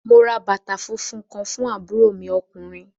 Mo ra bàtà funfun fún àbúrò mi ọkùnrin.